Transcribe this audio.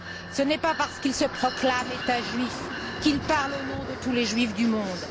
Ce n'est pas parce qu'il se proclame État juif qu'il parle au nom de tous les juifs du monde.